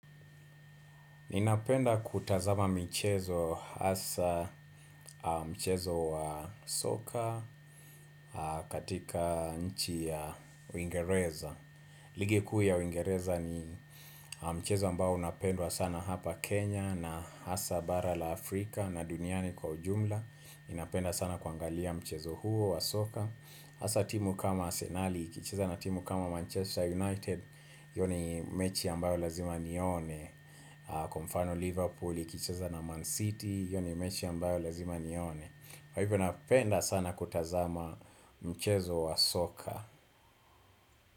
Ninapenda kutazama michezo hasa mchezo wa soka katika nchi ya uingereza. Ligi kuu ya uingereza ni mchezo ambao unapendwa sana hapa Kenya na hasa bara la Afrika na duniani kwa ujumla. Ninapenda sana kuangalia mchezo huo wa soka. Hasa timu kama arsenali, ikicheza na timu kama Manchester United, hiyo ni mechi ambayo lazima nione. Kwa mfano Liverpool, ikicheza na Man City, hiyo ni mechi ambayo lazima nione. Kwa hivyo napenda sana kutazama mchezo wa soka.